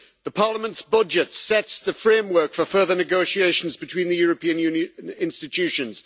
The Parliament's budget sets the framework for further negotiations between the European Union institutions.